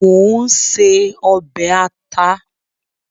Mò ń se ọbẹ̀ àta.